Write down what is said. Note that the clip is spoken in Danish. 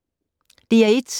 DR1